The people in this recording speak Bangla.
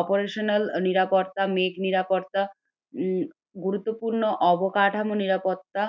operational নিরাপত্তা নিরাপত্তা, উম গুরুত্বপূর্ণ অবকাঠামো নিরাপত্তা।